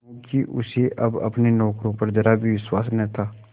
क्योंकि उसे अब अपने नौकरों पर जरा भी विश्वास न था